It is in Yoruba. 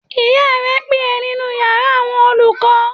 Ìyá rẹ ń pè ẹ́ nínú yàrá àwọn olùkọ́